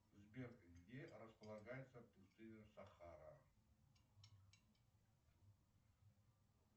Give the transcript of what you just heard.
сбер где располагается пустыня сахара